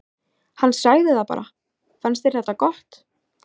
Hann sagði bara: Fannst þér þetta gott?